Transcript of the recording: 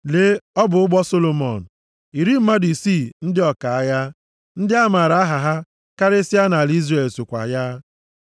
Lee ọ bụ ụgbọ Solomọn. Iri mmadụ isii ndị ọka agha, ndị a maara aha ha karịsịa nʼala Izrel sokwa ya.